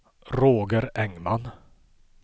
Roger Engman